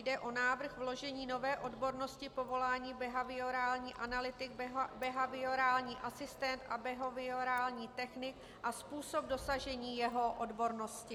Jde o návrh vložení nové odbornosti povolání behaviorální analytik, behaviorální asistent a behaviorální technik a způsob dosažení jeho odbornosti.